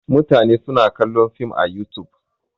Mutane suna kallon Film a Yutub.